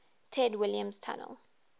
ted williams tunnel